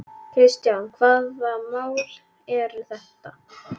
Kristján: Hvaða mál eru þetta?